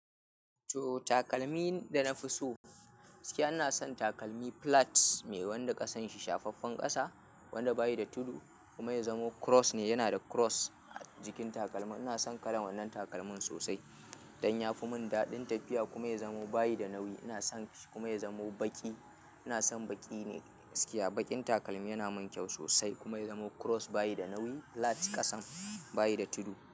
To takalmin da na fi so, gaskiya ina son takalmi plats me wanda ƙasan shi shafaffen ƙasa, wanda bayi da tudu kuma ya zamo cross ne, yana da cross jikin takalmin. Ina son kalan wannan takalmin sosai don ya fi mun daɗin tafiya kuma ya zamo baya da nauyi. Ina son shi kuma ya zamo baƙi. Ina son baƙi ne gaskiya a baƙin takalmi, yana min kyau sosai kuma ya zamo cross baya da nauyi plats ƙasan baya da tudu.